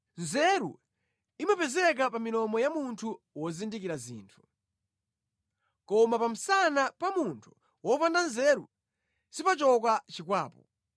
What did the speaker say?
Nzeru imapezeka pa milomo ya munthu wozindikira zinthu, koma pa msana pa munthu wopanda nzeru sipachoka chikwapu.